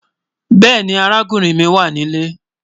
Bẹẹni, àràkùnrin mi wà ní ilẹ̀.